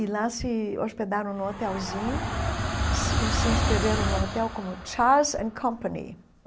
E lá se hospedaram num hotelzinho e se e se inscreveram no hotel como Charles and Company.